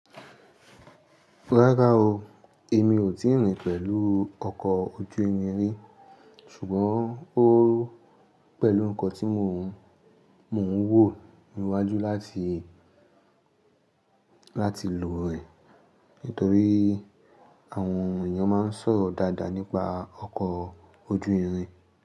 Rárá o, èmi ò tí ì rìn pẹ̀lú ọkọ̀ ojú irin rí, ṣùgbọ́n ó pẹ̀lú nǹkan tí mò ń wò níwájú láti, láti lò rẹ̀ nítorí àwọn èèyàn máa ń sọ̀ dáadáa nípa ọkọ̀ ojú irin.